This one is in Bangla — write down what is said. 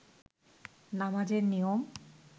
নামাজের নিয়ম